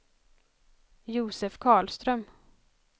Josef Karlström